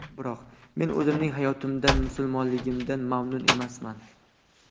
Biroq... men o‘zimning hayotimdan, musulmonligimdan mamnun emasman.